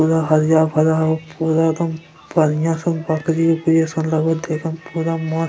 पूरा हरिया भरा हो पूरा एकदम बढ़िया स बकरी-उकरी जैसन लगय देखम पूरा म --